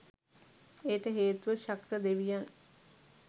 එයට හේතුව ශක්‍ර දෙවියන්